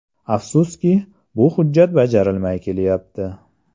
Afsuski, bu hujjat bajarilmay kelayapti.